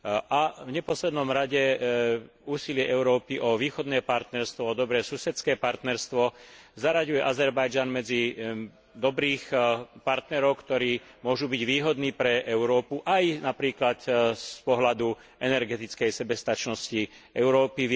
a v neposlednom rade úsilie Európy o východné partnerstvo, dobré susedské partnerstvo zaraďuje Azerbajdžan medzi dobrých partnerov, ktorí môžu byť výhodní pre Európu aj napríklad z pohľadu energetickej sebestačnosti Európy.